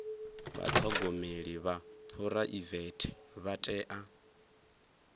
vhathogomeli vha phuraivete vha tea